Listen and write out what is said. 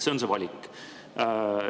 See on see valik.